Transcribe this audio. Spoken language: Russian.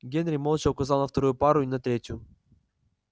генри молча указал на вторую пару и на третью